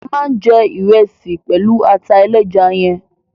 A ma jẹ ìresì pẹlu ata ẹlẹ́ja yẹn